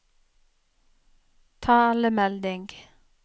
talemelding